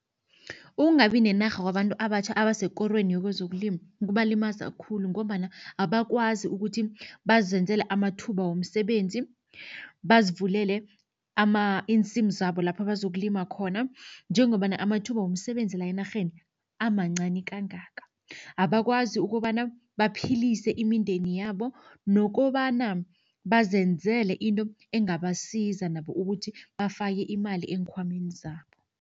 Ukungabi nenarha kwabantu abatjha abasekorweni yekwezokulima kubalimaza khulu ngombana abakwazi ukuthi bazenzele amathuba womsebenzi. Bazivulele iinsimu zabo lapho bazokulima khona njengombana amathuba womsebenzi la enarheni amancani kangaka. Abakwazi ukobana baphilise imindeni yabo nokobana bazenzele into engabasiza nabo ukuthi bafake imali eenkhwameni zabo.